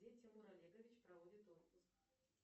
где тимур олегович проводит отпуск